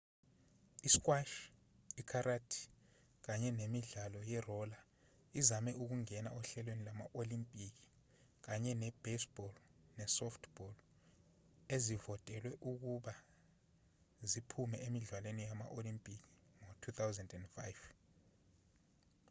i-squash i-karate kanye nemidlalo ye-roller izame ukungena ohlelweni lwama-olimpiki kanye ne-baseball ne-softball ezivotelwe ukuba ziphume emidlalweni yama-olimpiki ngo-2005